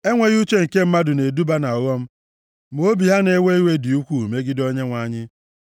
Enweghị uche nke mmadụ na-eduba ha nʼọghọm, ma obi ha na-ewe iwe dị ukwuu megide Onyenwe anyị.